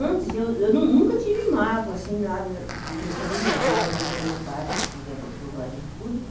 Antes, eu eu nunca tive mágoa, assim, nada dos meus familiares, da minha mãe, do meu pai, porque ele abandonou a gente tudo,